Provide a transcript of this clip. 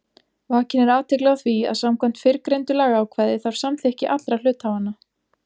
Vakin er athygli á því að samkvæmt fyrrgreindu lagaákvæði þarf samþykki allra hluthafanna.